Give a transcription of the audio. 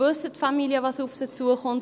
Wissen die Familien, was auf sie zukommt?